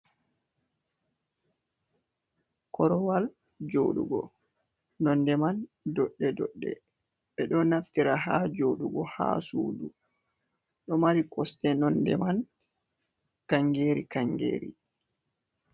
Korowal joɗugo nonde man doɗɗe doɗɗe ɓe ɗo naftira ha jodugo ha sudu ɗo mari kosɗe nonde man kangeri kangeri.